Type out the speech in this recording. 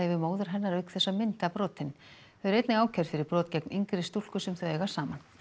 við móður hennar auk þess að mynda brotin þau eru einnig ákærð fyrir brot gegn yngri stúlku sem þau eiga saman